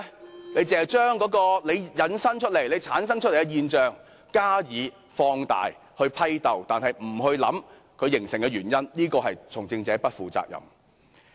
然而，當局只將問題引申或產生的現象加以放大、批鬥，卻不思考形成現象的原因，這是從政者不負責任。